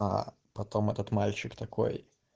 аа потом этот мальчик такой